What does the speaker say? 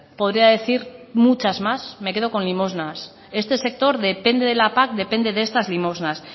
podría decir muchas más me quedo con limosnas este sector depende de la pac depende de estas limosnas